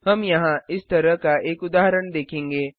हम यहाँ इस तरह का एक उदाहरण देखेंगे